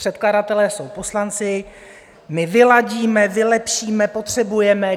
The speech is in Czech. Předkladatelé jsou poslanci, "my vyladíme, vylepšíme, potřebujeme".